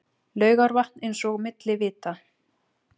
Laugarvatn eins og milli vita.